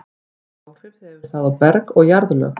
Hvaða áhrif hefur það á berg og jarðlög?